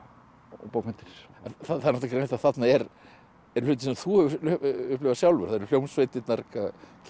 bókmenntir það er greinilegt að þarna eru hlutir sem þú hefur upplifað sjálfur það eru hljómsveitirnar King